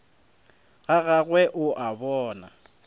ga gagwe o a bona